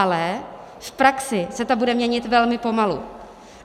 Ale v praxi se to bude měnit velmi pomalu.